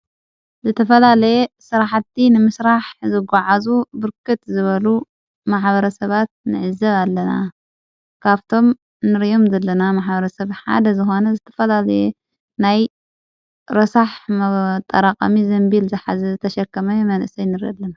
ዘተፈላለየ ሠራሕቲ ንምሥራሕ ዘግዕዙ ብርክት ዝበሉ መሓበረ ሰባት ንዕዘብ ኣለና ካብቶም ንርዮም ዘለና መሓበረ ሰብ ሓደ ዝኽነ ዘተፈላየ ናይ ረሳሕ መጠራቐሚ ዘንቢል ዝሓዚ ዝተሸከመ የመንእሰይ ንረኢለና።